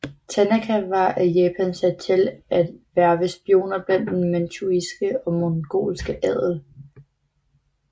Tanaka var af Japan sat til at hverve spioner blandt den manchuiske og mongolske adel